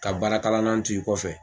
Ka baarakalanan t'u i kɔfɛ.